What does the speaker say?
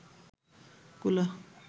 কুলা